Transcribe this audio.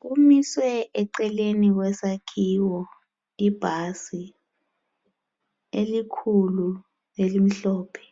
Kumiswe eceleni kwesakhiwo ibhasi elikhulu elimhlophe